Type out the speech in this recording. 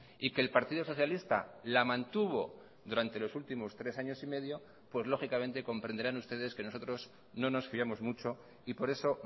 y que el partido socialista la mantuvo durante los últimos tres años y medio pues lógicamente comprenderán ustedes que nosotros no nos fiamosmucho y por eso